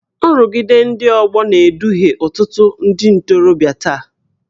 Nrụgide ndị ọgbọ na-eduhie ọtụtụ ndị ntorobịa taa